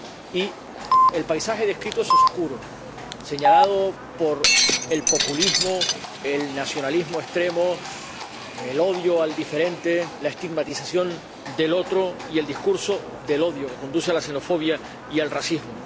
Y el paisaje descrito es oscuro, señalado por el populismo, el nacionalismo extremo, el odio al diferente, la estigmatización del otro y el discurso del odio que conduce a la xenofobia y al racismo.